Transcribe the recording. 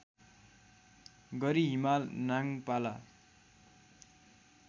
गरी हिमाल नाङपाला